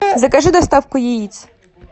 закажи доставку яиц